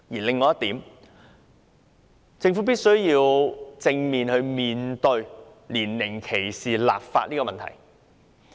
另外一點是，政府必須正視就年齡歧視立法的問題。